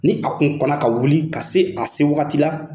Ni a tun kɔnɔ ka wuli ka se a se wagati la